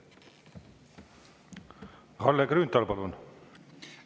Kalle Grünthal, palun!